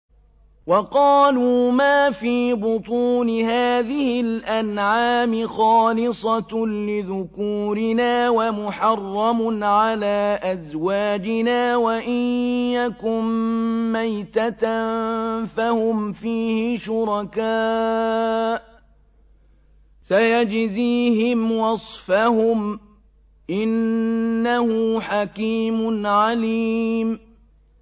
وَقَالُوا مَا فِي بُطُونِ هَٰذِهِ الْأَنْعَامِ خَالِصَةٌ لِّذُكُورِنَا وَمُحَرَّمٌ عَلَىٰ أَزْوَاجِنَا ۖ وَإِن يَكُن مَّيْتَةً فَهُمْ فِيهِ شُرَكَاءُ ۚ سَيَجْزِيهِمْ وَصْفَهُمْ ۚ إِنَّهُ حَكِيمٌ عَلِيمٌ